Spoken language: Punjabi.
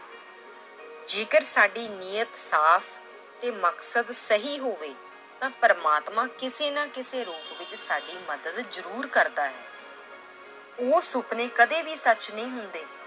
ਜੇਕਰ ਸਾਡੀ ਨੀਅਤ ਸਾਫ਼ ਤੇ ਮਕਸਦ ਸਹੀ ਹੋਵੇ ਤਾਂ ਪ੍ਰਮਾਤਮਾ ਕਿਸੇ ਨਾ ਕਿਸੇ ਰੂਪ ਵਿੱਚ ਸਾਡੀ ਮਦਦ ਜ਼ਰੂਰ ਕਰਦਾ ਹੈ l ਉਹ ਸੁਪਨੇ ਕਦੇ ਵੀ ਸੱਚ ਨਹੀਂ ਹੁੰਦੇ